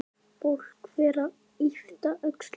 Fólk fer að yppta öxlum.